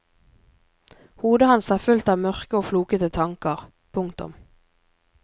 Hodet hans er fullt av mørke og flokete tanker. punktum